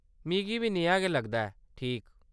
मिगी बी नेहा गै लगदा ऐ, ठीक ।